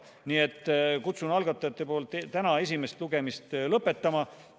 Nii et kutsun algatajate nimel üles täna esimest lugemist lõpetama.